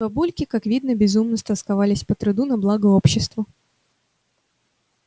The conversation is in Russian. бабульки как видно безумно стосковались по труду на благо обществу